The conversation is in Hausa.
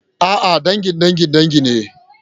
A'a, dangin dangin dangi ne.